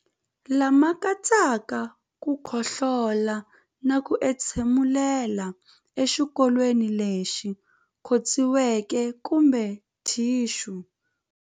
Lama katsaka ku khohlola na ku entshemulela exikokolweni lexi khotsiweke kumbe thixu.